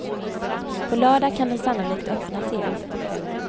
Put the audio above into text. På lördag kan den sannolikt öppnas igen.